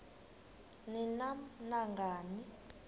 ni nam nangani